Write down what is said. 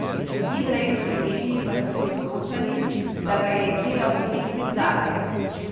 Izraelski mediji pa so nato poročali, da ga je izdelal umetnik Zalajt.